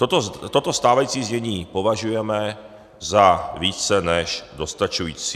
Toto stávající znění považujeme za více než dostačující.